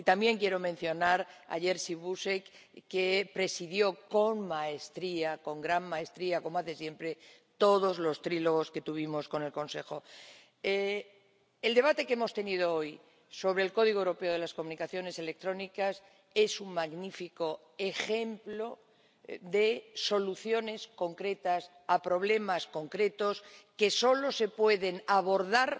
Y también quiero mencionar a Jerzy Buzek, que presidió con maestría, con gran maestría, como hace siempre, todos los trílogos que tuvimos con el Consejo. El debate que hemos tenido hoy sobre el Código Europeo de las Comunicaciones Electrónicas es un magnífico ejemplo de soluciones concretas a problemas concretos que solo se pueden abordar